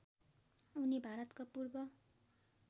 उनी भारतका पूर्व